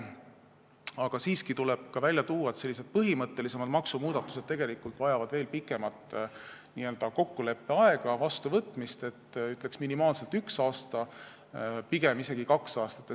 Aga siiski tuleb ka välja tuua, et põhimõttelisemad maksumuudatused vajavad veel pikemat n-ö kokkuleppeaega, varem vastuvõtmist, ütleksin, et minimaalselt üks aasta, aga pigem isegi kaks aastat.